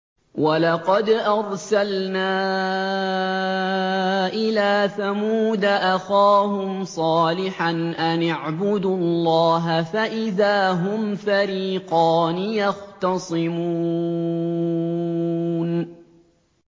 وَلَقَدْ أَرْسَلْنَا إِلَىٰ ثَمُودَ أَخَاهُمْ صَالِحًا أَنِ اعْبُدُوا اللَّهَ فَإِذَا هُمْ فَرِيقَانِ يَخْتَصِمُونَ